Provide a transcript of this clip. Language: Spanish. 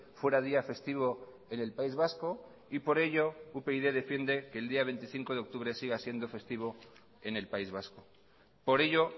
fuera día festivo en el país vasco y por ello upyd defiende que el día veinticinco de octubre siga siendo festivo en el país vasco por ello